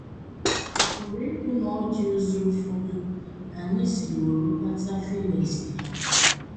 Ọ̀ pụrụ ịbụ na ọ dị ụzọ ụfọdụ anyị siworo kpata feelings ha?